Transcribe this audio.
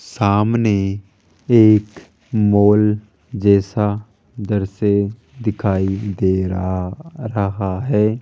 सामने एक मॉल जैसा उधर से दिखाई दे रहा रहा है।